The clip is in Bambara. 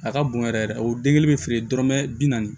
A ka bon yɛrɛ yɛrɛ de o den kelen bɛ feere dɔrɔmɛ bi naani